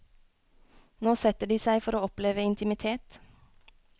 Nå setter de seg for å oppleve intimitet.